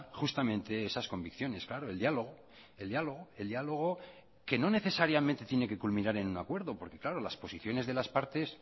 justamente esas convicciones claro el diálogo el diálogo el diálogo que no necesariamente tiene que culminar en un acuerdo porque claro las posiciones de las partes